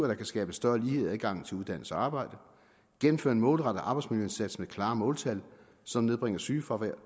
der kan skabe større lighed i adgangen til uddannelse og arbejde gennemføre en målrettet arbejdsmiljøindsats med klare måltal som nedbringer sygefravær